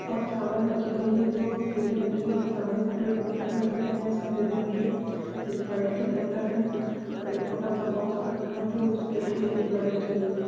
और चावल राखी गई है जो पीले रंग की है सामनेकी तरफ बोतल रखे हुए है सफ़ेद रंग की स्प्रइट की बोतल है और एक छोटा सा बॉक्स रखा गया जो ऊसपे टिशू पेपर रखी हुई है।